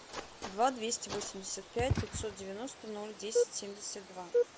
два двести восемьдесят пять пятьсот девяносто ноль десять семьдесят два